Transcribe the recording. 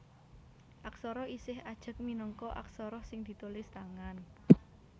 Aksara isih ajeg minangka aksara sing ditulis tangan